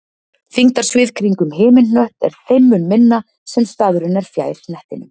þyngdarsvið kringum himinhnött er þeim mun minna sem staðurinn er fjær hnettinum